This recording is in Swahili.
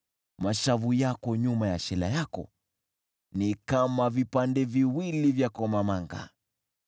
Mashavu yako nyuma ya shela yako ni kama vipande viwili vya komamanga.